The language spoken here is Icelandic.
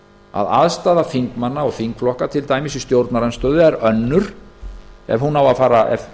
að aðstaða þingmanna og þingflokka til dæmis í stjórnarandstöðu er önnur ef menn eiga að fara að